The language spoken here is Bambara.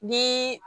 Ni